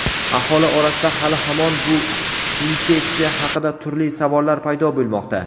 Aholi orasida hali-hamon bu infeksiya haqida turli savollar paydo bo‘lmoqda.